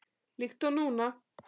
Líkt og núna.